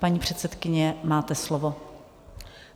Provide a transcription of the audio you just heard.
Paní předsedkyně, máte slovo.